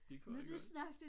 Det kunne han godt